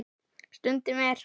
Stundum er